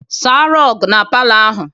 Saa rọgụ na palọ ahụ!